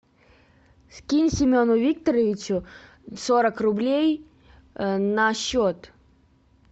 скинь семену викторовичу сорок рублей на счет